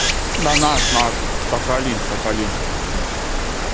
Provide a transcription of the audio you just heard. на наш наш сахалин сахалин